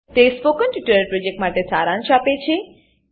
તે spoken tutorial પ્રોજેક્ટનો સારાંશ આપે છે